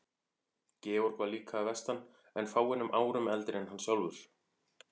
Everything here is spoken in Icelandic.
Georg var líka að vestan en fáeinum árum eldri en hann sjálfur.